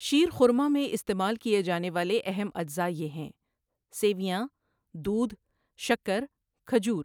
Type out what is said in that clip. شیرخرما میں استعمال کیے جانے والے اہم اجزاء یہ ہیں، سویاں، دودھ، شکّر، کھجور۔